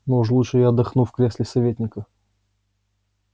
но уж лучше я отдохну в кресле советника